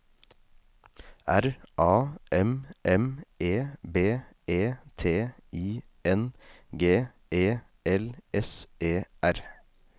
R A M M E B E T I N G E L S E R